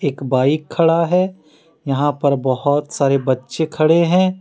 एक बाइक खड़ा है यहा पर बहोत सारे बच्चे खड़े हैं।